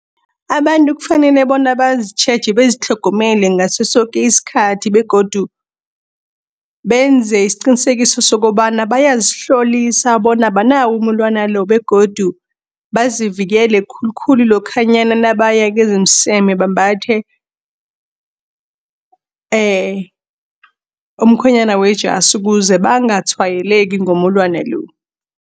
Abantu kufanele bona bazitjheje, bazitlhogomele ngasosoke iskhathi begodu benze isiqinisekiso sokobana bayazihlolisa bona abanawo umulwana lo. Begodu bazivikele khulukhulu lokhanyana nabaya kezOmseme bambathe umkhwenyana wejasi kuze bangatshwayeleki ngomulwana lo.